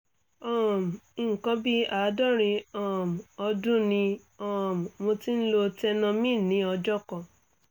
um nǹkan bí àádọ́rin um ọdún ni um mo ti ń lo tenormin ní ọjọ́ kan